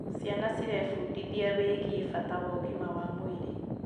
Ciana cirebundithia wĩgiĩ bata wa ũgima wa mwĩrĩ.